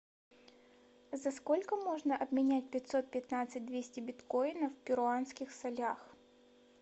за сколько можно обменять пятьсот пятнадцать двести биткоинов в перуанских солях